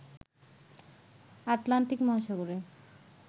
Atlantic মহাসাগরে